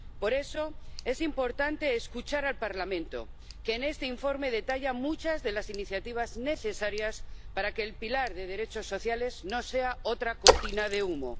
Por eso es importante escuchar al Parlamento, que en este informe detalla muchas de las iniciativas necesarias para que el pilar de derechos sociales no sea otra cortina de humo.